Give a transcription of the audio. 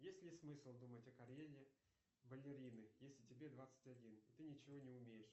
есть ли смысл думать о карьере балерины если тебе двадцать один и ты ничего не умеешь